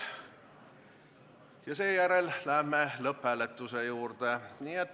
Seejärel läheme lõpphääletuse juurde.